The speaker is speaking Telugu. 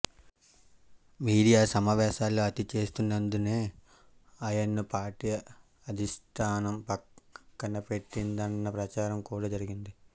మీడియా సమావేశాల్లో అతి చేస్తున్నందునే ఆయన్ను పార్టీ అధిష్టానం పక్కనపెట్టిందన్న ప్రచారం కూడా జరిగింది